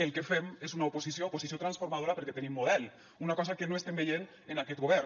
el que fem és una oposició oposició transformadora perquè tenim model una cosa que no estem veient en aquest govern